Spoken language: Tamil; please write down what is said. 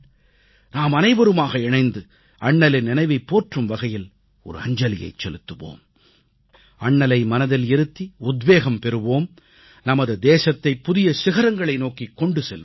நாமனைவருமாக இணைந்து அண்ணலின் நினைவைப் போற்றும் வகையில் அஞ்சலியைச் செலுத்துவோம் அண்ணலை மனதில் இருத்தி உத்வேகம் பெறுவோம் நமது தேசத்தைப் புதிய சிகரங்களை நோக்கிக் கொண்டு செல்வோம்